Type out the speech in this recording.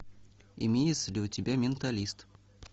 имеется ли у тебя менталист